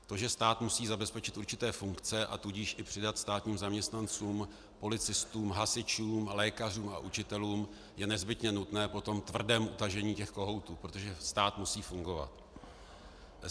To, že stát musí zabezpečit určité funkce, a tudíž i přidat státním zaměstnancům, policistům, hasičům, lékařům a učitelům, je nezbytně nutné po tom tvrdém utažení těch kohoutů, protože stát musí fungovat.